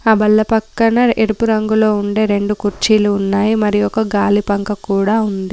ఆ బల్ల పక్కన ఎరుపు రంగులో ఉండే రెండు కుర్చీలు ఉన్నాయి మరియు ఒక గాలి పంక కూడా ఉంది.